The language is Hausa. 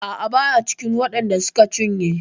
A'a baya cikin waɗan da suka cinye.